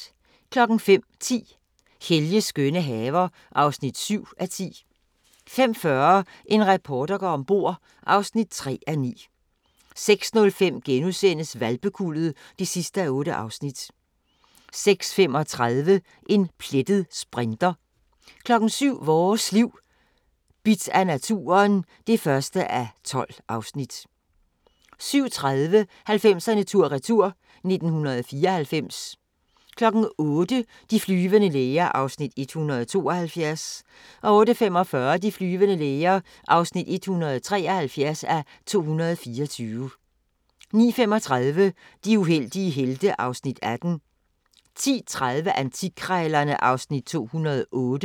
05:10: Helges skønne haver (7:10) 05:40: En reporter går ombord (3:9) 06:05: Hvalpekuldet (8:8)* 06:35: En plettet sprinter 07:00: Vores Liv: Bidt af naturen (1:12) 07:30: 90'erne tur-retur: 1994 08:00: De flyvende læger (172:224) 08:45: De flyvende læger (173:224) 09:35: De uheldige helte (Afs. 18) 10:30: Antikkrejlerne (Afs. 208)